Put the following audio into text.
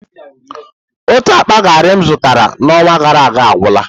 Otu akpa gari m zụtara n'ọnwa gara aga agwụla.